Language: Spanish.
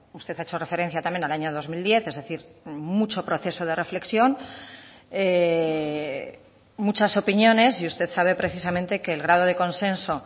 usted ha hecho referencia también al año dos mil diez es decir mucho proceso de reflexión muchas opiniones y usted sabe precisamente que el grado de consenso